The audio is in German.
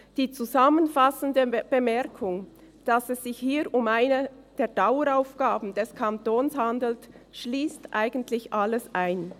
Die zusammenfassende Bemerkung, dass es sich hier um eine der Daueraufgaben des Kantons handelt, schliesst eigentlich alles ein.